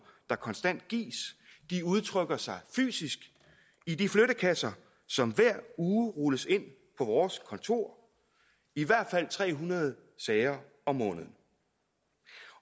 der konstant gives de udtrykker sig fysisk i de flyttekasser som hver uge rulles ind på vores kontorer i hvert fald tre hundrede sager om måneden